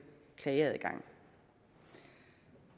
klageadgang